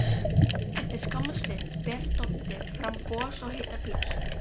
Eftir skamma stund ber Doddi fram gos og heitar pitsur.